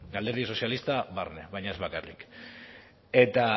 eta alderdi sozialista barne baina ez bakarrik eta